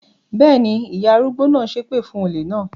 Bẹ́ẹ̀ ni, ìyá arúgbó náà ṣépè fún olè náà.